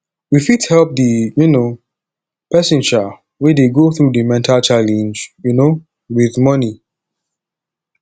we fit help di um person um wey dey go through di mental challenege um with money